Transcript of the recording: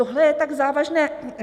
Tohle je tak závažné!